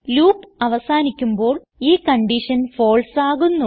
loop അവസാനിക്കുമ്പോൾ ഈ condition false ആകുന്നു